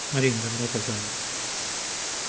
марина добро пожаловать